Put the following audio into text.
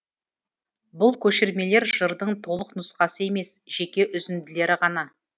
бұл көшірмелер жырдың толық нұсқасы емес жеке үзінділері ғана